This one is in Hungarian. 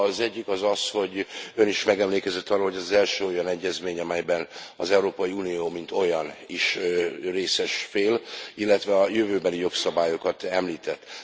Az egyik az az, hogy Ön is megemlékezett arról, hogy ez az első olyan egyezmény, amelyben az Európai Unió mint olyan is részes fél, illetve a jövőbeli jogszabályokat említette.